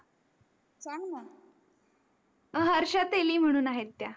हर्षा तेली म्हणून आहेत त्या